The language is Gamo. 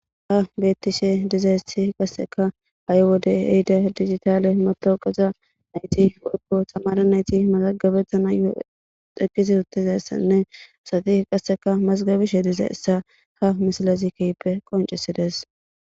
ha bettishe dizaessi qasseka ha7i wode heyide digitaale matawuqeza nayti woykko tamara nayti malagabettanayo eqisi uttizassanne asati qasseka mazgabishe diza essa ha misilazi keyppe qoncisides